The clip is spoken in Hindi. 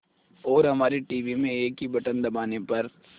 और हमारे टीवी में एक ही बटन दबाने पर